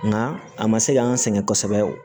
Nka a ma se k'an sɛgɛn kosɛbɛ